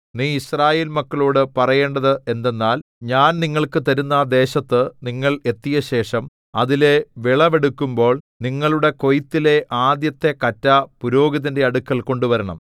നീ യിസ്രായേൽ മക്കളോടു പറയേണ്ടത് എന്തെന്നാൽ ഞാൻ നിങ്ങൾക്ക് തരുന്ന ദേശത്തു നിങ്ങൾ എത്തിയശേഷം അതിലെ വിളവെടുക്കുമ്പോൾ നിങ്ങളുടെ കൊയ്ത്തിലെ ആദ്യത്തെ കറ്റ പുരോഹിതന്റെ അടുക്കൽ കൊണ്ടുവരണം